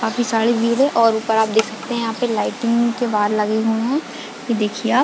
काफी सारी भीड़ है और ऊपर आप देख सकते है यहाँ पे लाइटिंग के वायर लगे हुए है यह देखिये आप --